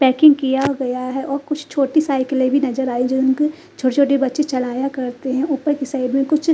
packing किया गया है और कुछ छोटी साइकिलें भी नज़र आई जिनको छोटे छोटे बच्चे चलाया करते हैं ऊपर के साइड में कुछ--